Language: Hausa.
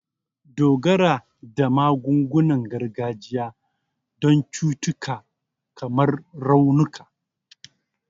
Dogara da magungunan gargajiya don cututtuka kamar raunuka